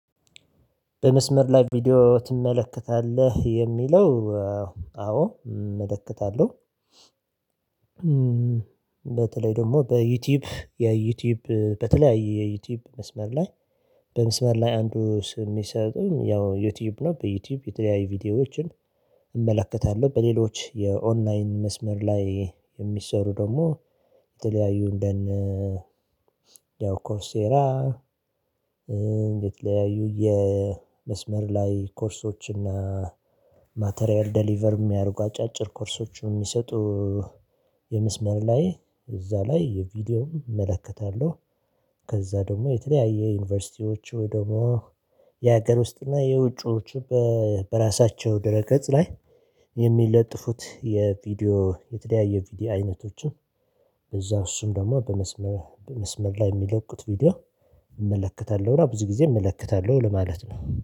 በመስመር ላይ ቪዲዮ ትመለከታለህ የሚለው አዎ እመለከታለሁ። በተለይ ደግሞ በዩቲዩብ የዩቲዩብ በተለያየ የዩቲዩብ መስመር ላይ በመስመር ላይ አንዱ ስም የሚሰጡን ያው ዩቲዩብ ነው በዩቲዩብ የተለያዩ ቪዲዮዎችን እመለከታለሁ በሌሎች የኦንላይን መስመር ላይ የሚሰሩ ደግሞ የተለያዩ እንደነ ያው ኮርሴራ የተለያዩ የመስመር ላይ ኮርሶችን ማቴሪያል ዴሊቨር የሚያደርጉ አጫጭር ኮርሶችን የሚሰጡ የመስመር ላይ እዛ ላይ ቪዲዮ እመለከታለሁ ከዛ ደግሞ የተለያየ ዩኒቨርሲቲዎች ወይ ደግሞ የሀገር ውስጥ እና የውጪዎች በራሳቸው ድረገጽ ላይ የሚለጥፉት የቪዲዮ የተለያየ ቪዲዮ አይነቶችን እዛው እሱም ደግሞ በመስመር በመስመር ላይ የሚለቁት ቪዲዮ እመለከታለሁ ብዙ ጊዜ እመለከታለሁ ለማለት ነው